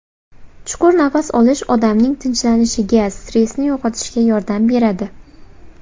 Chuqur nafas olish odamning tinchlanishiga, stressni yo‘qotishga yordam beradi.